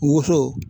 Woso